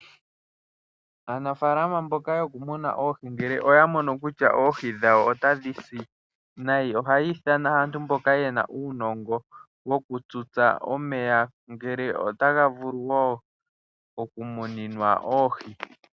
Aanafaalama mbyoka yokumuna oohi ngele oya mono kutya oohi dhawo otadhi si nayi, ohaya ithana aantu mboka ye na uunongo wokututsa omeya ngele otaga vulu okumuninwa oohi.